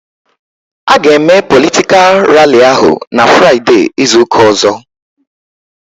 A ga eme politikal ralli ahụ n'Fraideee izuka ọzọ